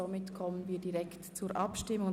Somit kommen wir direkt zur Abstimmung.